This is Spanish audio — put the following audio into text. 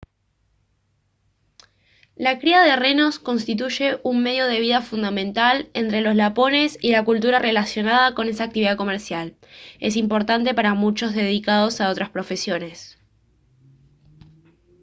la cría de renos constituye un medio de vida fundamental entre los lapones y la cultura relacionada con esa actividad comercial es importante para muchos dedicados a otras profesiones